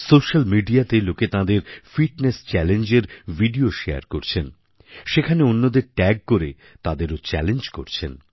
social Mediaতে লোকে তাঁদের ফিটনেস Challengeএর ভিডিও শেয়ার করছেন সেখানে অন্যদের ট্যাগ করে তাদেরও চ্যালেঞ্জ করছেন